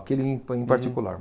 Aquele, em, em particular.